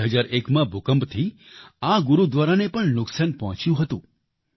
2001માં ભૂકંપથી આ ગુરુદ્વારાને પણ નુકસાન પહોંચ્યું હતું